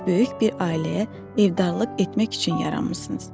Siz böyük bir ailəyə evdarlıq etmək üçün yaranmısınız.